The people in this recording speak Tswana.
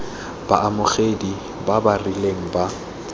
baamogedi ba ba rileng ba